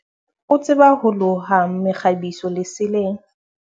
o tseba ho loha mekgabiso leseleng